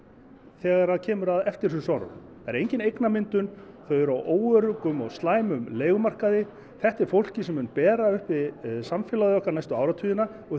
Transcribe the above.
þegar kemur að eftirhrunsárunum það er engin eignamyndun þau eru á óöruggum og slæmum leigumarkaði þetta er fólkið sem mun bera uppi samfélagið næstu áratugina og